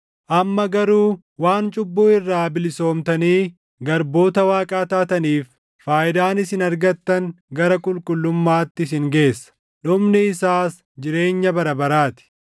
Amma garuu waan cubbuu irraa bilisoomtanii garboota Waaqaa taataniif faayidaan isin argattan gara qulqullummaatti isin geessa; dhumni isaas jireenya bara baraa ti.